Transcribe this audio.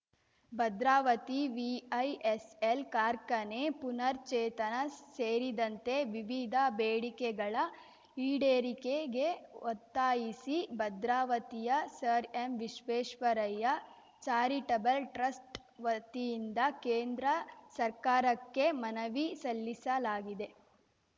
Bhadravati VISL ಕಾರ್ಖಾನೆ ಪುನಃರ್ಚೆತನ ಸೇರಿದಂತೆ ವಿವಿಧ ಬೇಡಿಕೆಗಳ ಈಡೇರಿಕೆಗೆ ಒತ್ತಾಯಿಸಿ ಭದ್ರಾವತಿಯ sir M Visvesvaraya charitable trust ವತಿಯಿಂದ ಕೇಂದ್ರ ಸರ್ಕಾರಕ್ಕೆ ಮನವಿ ಸಲ್ಲಿಸಲಾಗಿದೆ